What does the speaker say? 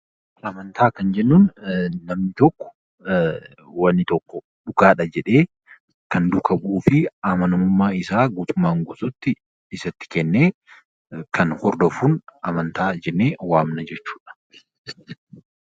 Amantaa Kan jennuun namni tokko wanni tokko dhugaadha jedhee Kan duukaa bu'uu fi Kan amanamummaa isaa guutummaan guutuutti isatti kennee Kan hordofuun amantaa jennee waamna jechuudha.